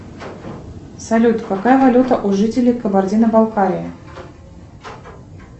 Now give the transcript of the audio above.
салют какая валюта у жителей кабардино балкарии